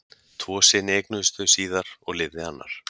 tvo syni eignuðust þau síðar og lifði annar